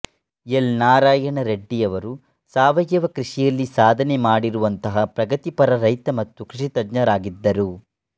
L Narayana ರೆಡ್ಡಿಯವರು ಸಾವಯವ ಕೃಷಿಯಲ್ಲಿ ಸಾಧನೆ ಮಾಡಿರುವಂತಹ ಪ್ರಗತಿಪರ ರೈತ ಮತ್ತು ಕೃಷಿತಜ್ಞರಾಗಿದ್ದರು